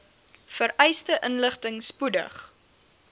vereiste inligting spoedig